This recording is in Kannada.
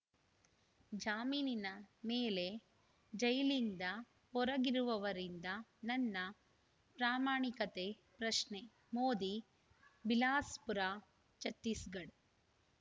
ಜಾಮೀನಿನ ಮೇಲೆ ಜೈಲಿಂದ ಹೊರಗಿರುವವರಿಂದ ನನ್ನ ಪ್ರಾಮಾಣಿಕತೆ ಪ್ರಶ್ನೆ ಮೋದಿ ಬಿಲಾಸ್‌ಪುರ ಛತ್ತೀಸ್‌ಗಢ